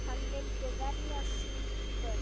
Hann myndi verja sín börn.